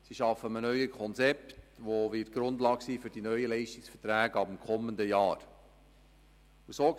Sie arbeiten an einem neuen Konzept, das die Grundlage für die neuen Leistungsverträge ab dem kommenden Jahr sein wird.